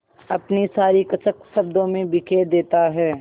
अपनी सारी कसक शब्दों में बिखेर देता है